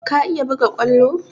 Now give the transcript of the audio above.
Ka iya buga kwallo?